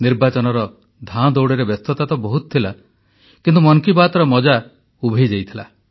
ନିର୍ବାଚନର ଧାଁଦଉଡ଼ରେ ବ୍ୟସ୍ତତା ତ ବହୁତ ଥିଲା କିନ୍ତୁ ମନ କି ବାତର ମଜା ଉଭେଇ ଯାଇଥିଲା